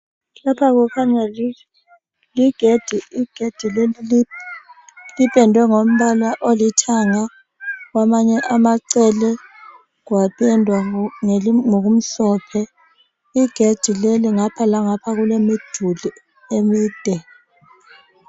Lapha kukhanya ligedi, igedi leli lipendwe ngombala olithanga kwamanye amacele kwapendwa ngokumhlophe igedi leli ngapha langapha kulemiduli emide.